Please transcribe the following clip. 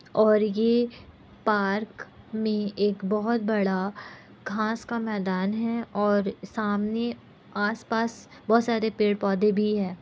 और ये पार्क में एक बहोत बड़ा घास का मैदान है और सामने आस-पास बहोत सारे पेड़-पौधे भी है।